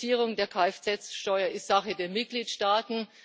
Die Reduzierung der Kfz Steuer ist Sache der Mitgliedstaaten.